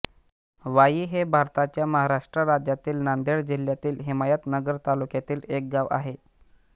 वाई हे भारताच्या महाराष्ट्र राज्यातील नांदेड जिल्ह्यातील हिमायतनगर तालुक्यातील एक गाव आहे